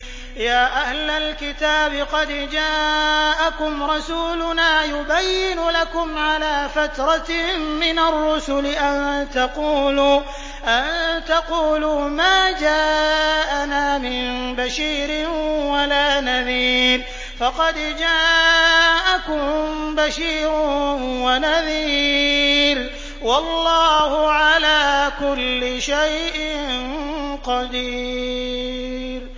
يَا أَهْلَ الْكِتَابِ قَدْ جَاءَكُمْ رَسُولُنَا يُبَيِّنُ لَكُمْ عَلَىٰ فَتْرَةٍ مِّنَ الرُّسُلِ أَن تَقُولُوا مَا جَاءَنَا مِن بَشِيرٍ وَلَا نَذِيرٍ ۖ فَقَدْ جَاءَكُم بَشِيرٌ وَنَذِيرٌ ۗ وَاللَّهُ عَلَىٰ كُلِّ شَيْءٍ قَدِيرٌ